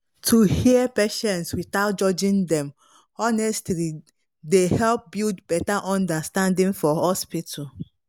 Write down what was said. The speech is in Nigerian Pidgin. to hear patients without judging dem honestly dey help build better understanding for hospital.